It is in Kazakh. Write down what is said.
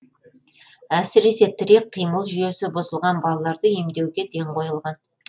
әсіресе тірек қимыл жүйесі бұзылған балаларды емдеуге ден қойылған